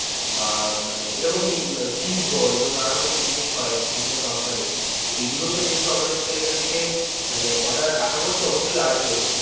বা মানে এরকম উহ chease ball এরকম নানান রকমের যে জিনিস হয় বিভিন্ন company তো এগুলো তো যেহেতু sir এখান থেকে মানে order আশা করছি অবশ্যই আসবে.